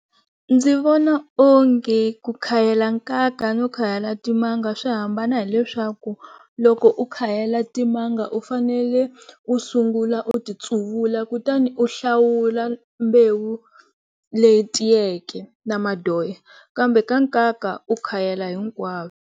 Ndzi vona onge ku khayela nkaka no khayela timanga swi hambana hileswaku loko u khayela timanga u fanele u sungula u ti tsuvula kutani u hlawula mbewu leyi tiyeke na madoya kambe ka nkaka u khayela .